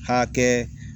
Ka kɛ